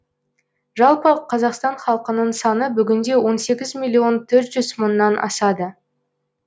жалпы қазақстан халқының саны бүгінде он сегіз миллион төрт жүз мыңнан асады